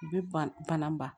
U bɛ ban bana ba